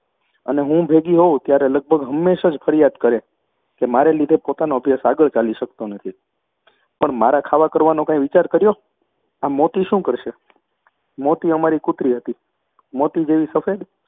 અને હું ભેગી હોઉં ત્યારે લગભગ હંમેશ જ ફરિયાદ કરે છે કે મારે લીધે પોતાનો અભ્યાસ આગળ ચાલી શકતો નથી. પણ મારા ખાવા કરવાનો કાંઈ વિચાર કર્યો? આ મોતી શું કરશે? મોતી અમારી કૂતરી હતી. મોતી જેવી સફેદ